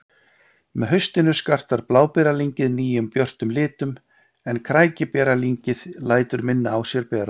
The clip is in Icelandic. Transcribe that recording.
Með haustinu skartar bláberjalyngið nýjum björtum litum en krækiberjalyngið lætur minna á sér bera.